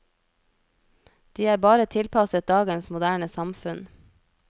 De er bare tilpasset dagens moderne samfunn.